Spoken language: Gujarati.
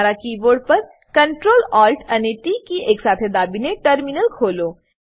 તમારા કીબોર્ડ પર ctrl alt ટી એકસાથે દાબીને ટર્મિનલ ખોલો